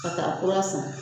Ka taa kura san